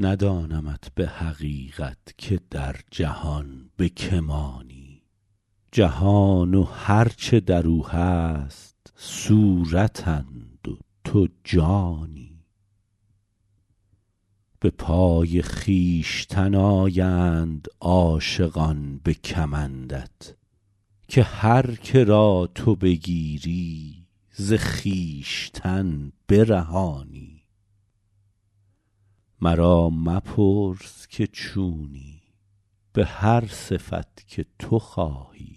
ندانمت به حقیقت که در جهان به که مانی جهان و هر چه در او هست صورتند و تو جانی به پای خویشتن آیند عاشقان به کمندت که هر که را تو بگیری ز خویشتن برهانی مرا مپرس که چونی به هر صفت که تو خواهی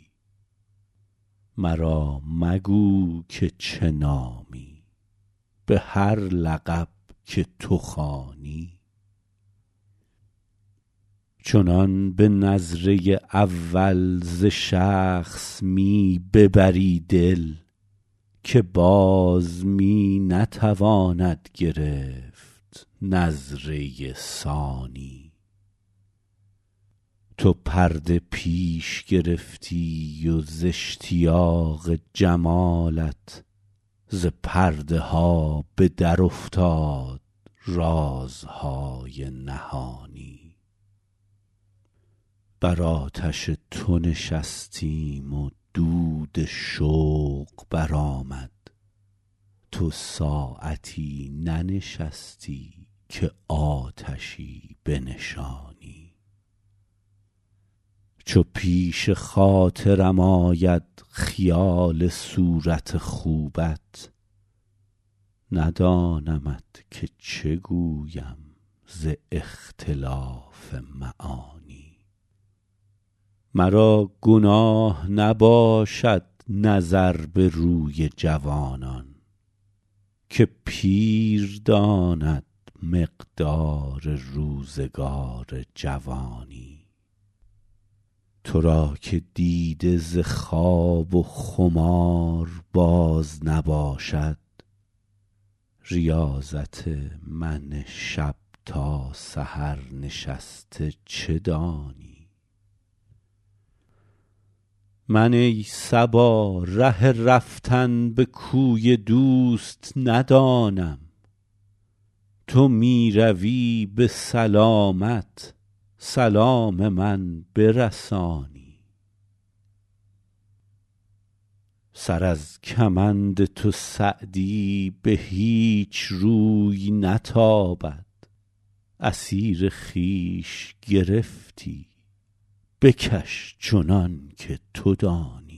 مرا مگو که چه نامی به هر لقب که تو خوانی چنان به نظره اول ز شخص می ببری دل که باز می نتواند گرفت نظره ثانی تو پرده پیش گرفتی و ز اشتیاق جمالت ز پرده ها به درافتاد رازهای نهانی بر آتش تو نشستیم و دود شوق برآمد تو ساعتی ننشستی که آتشی بنشانی چو پیش خاطرم آید خیال صورت خوبت ندانمت که چه گویم ز اختلاف معانی مرا گناه نباشد نظر به روی جوانان که پیر داند مقدار روزگار جوانی تو را که دیده ز خواب و خمار باز نباشد ریاضت من شب تا سحر نشسته چه دانی من ای صبا ره رفتن به کوی دوست ندانم تو می روی به سلامت سلام من برسانی سر از کمند تو سعدی به هیچ روی نتابد اسیر خویش گرفتی بکش چنان که تو دانی